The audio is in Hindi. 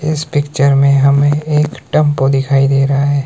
इस पिक्चर में हमें एक टेंपो दिखाई दे रहा है।